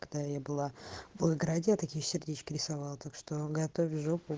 когда я была в волгограде я такие сердечки рисовала так что готовь жопу